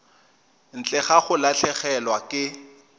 ntle ga go latlhegelwa ke